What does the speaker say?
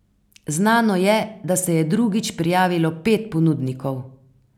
Znano je, da se je drugič prijavilo pet ponudnikov.